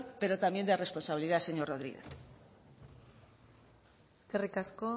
pero también de responsabilidad señor rodríguez eskerrik asko